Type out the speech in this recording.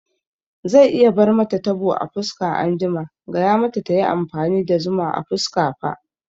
Zai iya bar mata tabo a fuska anjima, gaya mata tayi amfani da zuma a fuska fa